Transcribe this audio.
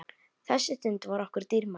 Þessi stund var okkur dýrmæt.